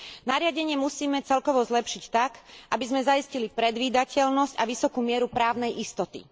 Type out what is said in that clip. Nariadenie musíme celkovo zlepšiť tak, aby sme zaistili predvídateľnosť a vysokú mieru právnej istoty.